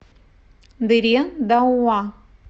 дыре дауа